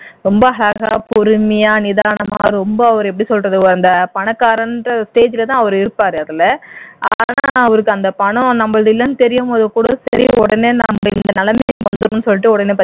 ரொம்ப அழகா பொருமையா நிதானமா ரொம்ப அவர் எப்படி சொல்றது அந்த பணக்காரன்ற stage லதான் இருப்பார் அதுல ஆனால் அவருக்கு அந்த பணம் நம்மளது இல்லன்னு தெரியும்போது கூட சரி உடனே நம்ம இந்த நிலைமைக்கு வந்திடனும்னு சொல்லிட்டு உடனே